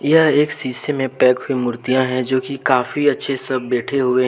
यह एक शीशे में पैक हुई मूर्तियां हैं जो कि काफ़ी अच्छे से सब बैठे हुए हैं।